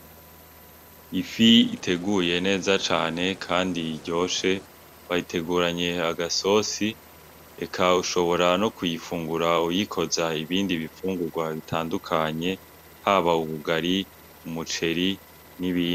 Ifi iteguye neza cane kandi iryoshe. Bayiteguranye agasosi. Eka ushobora no kuyifungura uyikoza ibindi bifungurwa bitandukanye, haba ubugari, umuceri, n'ibindi.